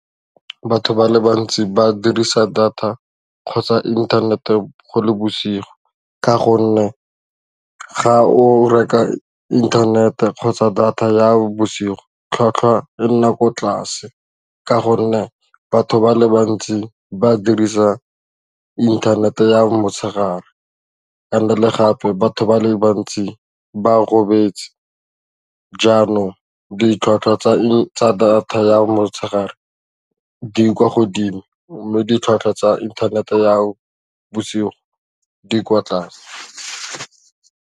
Batho ba le bantsi ba dirisa data kgotsa inthanete go le bosigo ka gonne ga o reka internet-e kgotsa data ya bosigo tlhwatlhwa e nna ko tlase ka gonne batho ba le bantsi ba dirisa inthanete ya motshegare and le gape batho ba le bantsi ba robetse janong ditlhwatlhwa tsa data ya motshegare di kwa godimo mo ditlhwatlhwa tsa inthanete ya bosigo di kwa tlase.